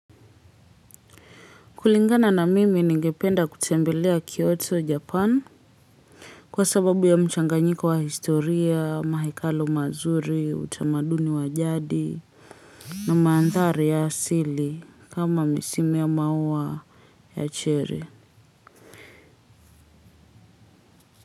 Kulingana na mimi ningependa kutembelea Kyoto, Japan. Kwa sababu ya mchanganyiko wa historia, mahekalo mazuri, utamaduni wa jadi. Na maandhari ya asili kama misimu ya maua ya chere.